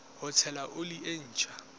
ho tshela oli e ntjha